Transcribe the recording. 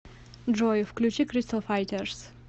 джой включи кристал файтерс